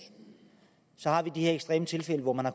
så har vi de her ekstreme tilfælde hvor man har